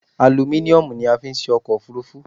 Alumíniomù ni a fi n se ọkọ̀ òfúrufú